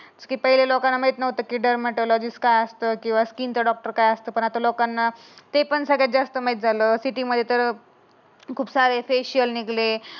ते लोकांना माहीत नव्हतं की डायमंड लॉजिस काय असतं. स्किन डॉक्टर काय असतं. पण लोकांना ते पण लोकांना सगळं जास्त माहीत झालं. सिटीमध्ये तर खूप सारे फेशियल निघले.